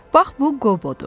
Bax bu Qobudur.